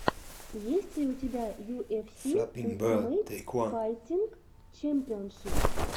есть ли у тебя ю эф си ультимейт файтинг чемпионшип